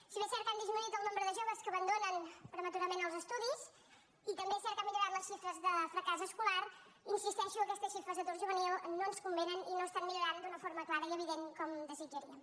si bé és cert que ha disminuït el nombre de joves que abandonen prematurament els estudis i també és cert que han millorat les xifres de fracàs escolar insisteixo que aquestes xifres d’atur juvenil no ens convenen i no estan millorant d’una forma clara i evident com desitjaríem